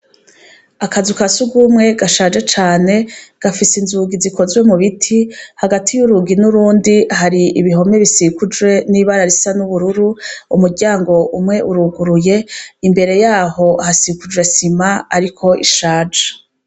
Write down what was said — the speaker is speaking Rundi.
Akazu kasugumwe gashaje cane ,gafise inzugi zikozwe mubiti, hagati y'urugi n'urundi hari ibihome bisikujwe n'ibara ry'ubururu, umuryango umwe uruguye , imbere yaho hasikujwe sima ariko ishaje.